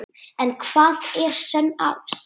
En hvað er sönn ást?